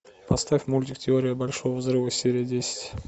поставь мультик теория большого взрыва серия десять